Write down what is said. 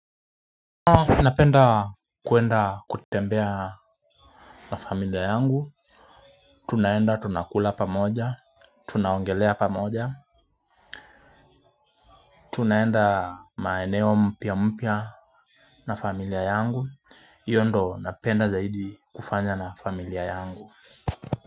Napenda kuenda kutembea na familia yangu, tunaenda tunakula pamoja, tunaongelea pamoja, tunaenda maeneo mpya mpya na familia yangu, iyo ndo napenda zaidi kufanya na familia yangu.